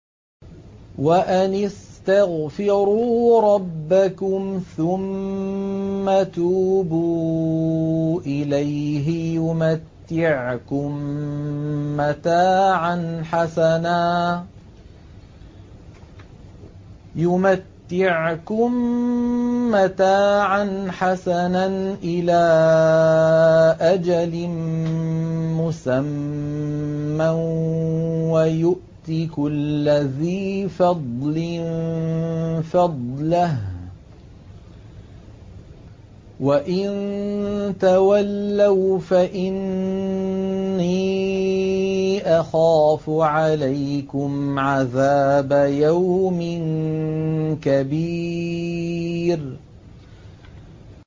وَأَنِ اسْتَغْفِرُوا رَبَّكُمْ ثُمَّ تُوبُوا إِلَيْهِ يُمَتِّعْكُم مَّتَاعًا حَسَنًا إِلَىٰ أَجَلٍ مُّسَمًّى وَيُؤْتِ كُلَّ ذِي فَضْلٍ فَضْلَهُ ۖ وَإِن تَوَلَّوْا فَإِنِّي أَخَافُ عَلَيْكُمْ عَذَابَ يَوْمٍ كَبِيرٍ